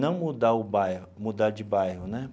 Não mudar o bairro, mudar de bairro, né?